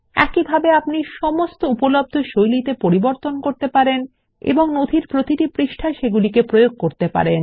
একইভাবে আপনি সমস্ত উপলব্ধ শৈলীতে পরিবর্তন করতে পারেন এবং নথির প্রতিটি পৃষ্ঠায় সেগুলি প্রয়োগ করতে পারেন